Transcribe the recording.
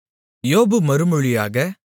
யோபு மறுமொழியாக